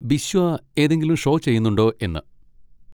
ബിശ്വ ഏതെങ്കിലും ഷോ ചെയ്യുന്നുണ്ടോ എന്ന്.